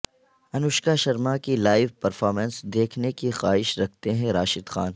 انوشکا شرما کی live performance دیکھنے کی خواہش رکھتے ہیں راشد خان